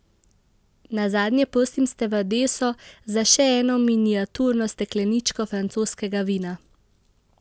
Nazadnje prosim stevardeso za še eno miniaturno stekleničko francoskega vina.